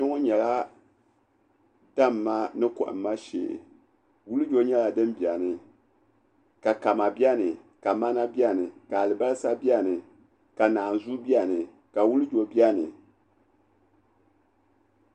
Kpɛŋɔ nyɛla damma ni kɔhimma shee wulijo nyɛla din beni ka kama beni ka mana beni ka alibasa beni ka naazua beni ka wulijo beni.